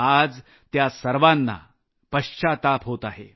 आज त्या सर्वांना पश्चात्ताप होत आहे